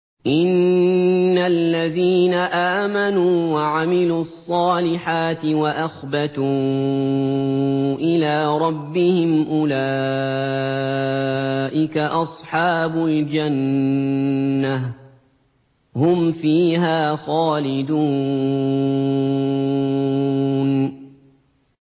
إِنَّ الَّذِينَ آمَنُوا وَعَمِلُوا الصَّالِحَاتِ وَأَخْبَتُوا إِلَىٰ رَبِّهِمْ أُولَٰئِكَ أَصْحَابُ الْجَنَّةِ ۖ هُمْ فِيهَا خَالِدُونَ